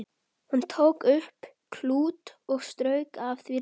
Hann tók upp klút og strauk af því ryk.